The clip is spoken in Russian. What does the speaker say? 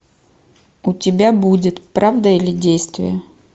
у тебя будет правда или действие